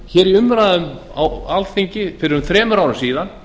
þetta í umræðum á ársþingi fyrir um þremur árum síðan